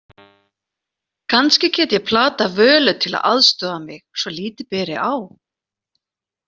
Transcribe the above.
Kannski get ég platað Völu til að aðstoða mig svo lítið beri á.